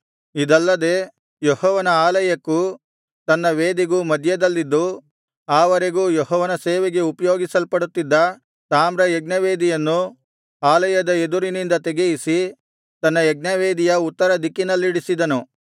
ಇದಲ್ಲದೆ ಯೆಹೋವನ ಆಲಯಕ್ಕೂ ತನ್ನ ವೇದಿಗೂ ಮಧ್ಯದಲ್ಲಿದ್ದು ಆ ವರೆಗೂ ಯೆಹೋವನ ಸೇವೆಗೆ ಉಪಯೋಗಿಸಲ್ಪಡುತ್ತಿದ್ದ ತಾಮ್ರ ಯಜ್ಞವೇದಿಯನ್ನೂ ಆಲಯದ ಎದುರಿನಿಂದ ತೆಗೆಯಿಸಿ ತನ್ನ ಯಜ್ಞವೇದಿಯ ಉತ್ತರ ದಿಕ್ಕಿನಲ್ಲಿಡಿಸಿದನು